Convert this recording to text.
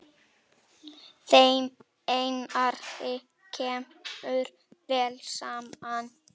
Þeim Einari kemur vel saman.